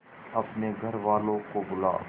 अपने घर वालों को बुला